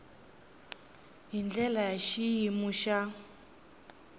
hi ndlela ya xiyimo xa